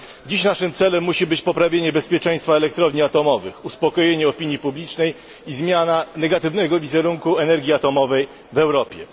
Dziś naszym celem musi być poprawienie bezpieczeństwa elektrowni atomowych, uspokojenie opinii publicznej i zmiana negatywnego wizerunku energii atomowej w Europie.